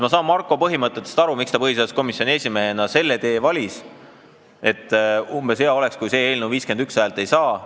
Ma saan Markost aru, miks ta põhiseaduskomisjoni esimehena selle tee valis, et hea oleks, kui see eelnõu 51 häält ei saa.